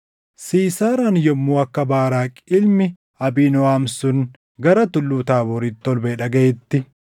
Siisaaraan yommuu akka Baaraaqi ilmi Abiinooʼam sun gara Tulluu Taabooritti ol baʼee dhagaʼetti,